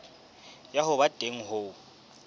ya ho ba teng ho